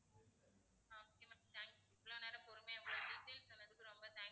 ah okay ma'am thank you இவ்வளோ நேரம் பொறுமையா explain பண்ணதுக்கு ரொம்ப thank you